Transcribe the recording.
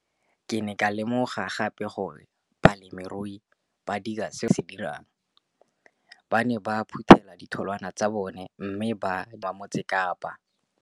Ke ne ka lemoga gape gore balemirui ba dira seo rona barekisi re se dirang ba ne ba phuthela ditholwana tsa bona mme ba di rekisa kwa marakeng wa Motsekapa.